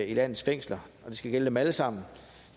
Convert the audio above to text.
i landets fængsler og det skal gælde dem alle sammen